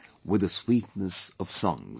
with the Sweetness of songs